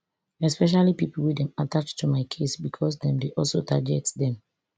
especially pipo wey dem attach to my case becos dem dey also target dem